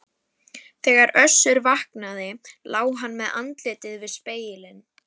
Þegar Össur vaknaði lá hann með andlitið við spegilinn.